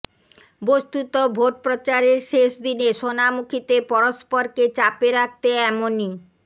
বস্তুত ভোট প্রচারের শেষ দিনে সোনামুখীতে পরস্পরকে চাপে রাখতে এমনই